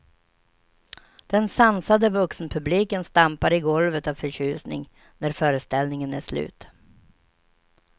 Den sansade vuxenpubliken stampar i golvet av förtjusning, när föreställningen är slut.